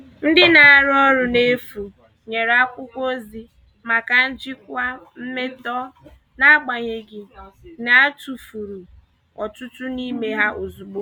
Ndị na-arụ ọrụ n'efu nyere akwụkwọ ozi maka njikwa mmetọ, n'agbanyeghị na a tufuru ọtụtụ n'ime ha ozugbo.